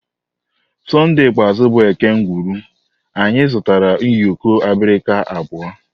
Sonde ikpeazụ bụ eke ngwuru anyị zụtara ụyọkọ abirika abụọ